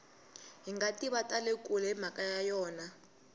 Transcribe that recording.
hingativa tale kule himhaka ya yona